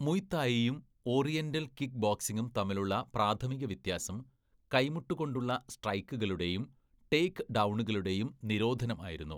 Muay തായിയും oriental kick ബോക്സിംഗും തമ്മിലുള്ള പ്രാഥമിക വ്യത്യാസം കൈമുട്ട് കൊണ്ടുള്ള സ്ട്രൈക്കുകളുടെയും ടേക്ക് ഡൗണുകളുടെയും നിരോധനമായിരുന്നു.